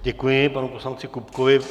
Děkuji panu poslanci Kupkovi.